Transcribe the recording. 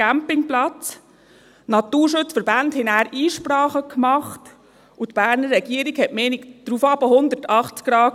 Die Naturschutzverbände machten Einsprachen, und die Berner Regierung änderte ihre Meinung daraufhin um 180 Grad.